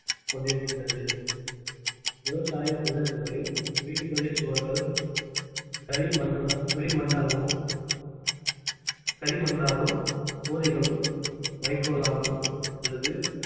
கொண்டிருக்கின்றது விவசாய பிரதேசங்களில் வீடுகளில் சுவர்கள் களிமண~ களிமண்ணாகவும் களிமண்ணாலும் கூரைகளும் வைக்கோலாலும் அல்லது